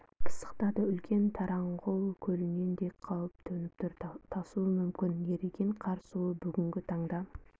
пысықтады үлкен тараңғұл көлінен де қауіп төніп тұр тасуы мүмкін еріген қар суы бүгінгі таңда